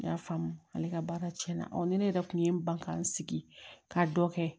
N y'a faamu ale ka baara cɛn na ni ne yɛrɛ kun ye n ban ka n sigi ka dɔ kɛ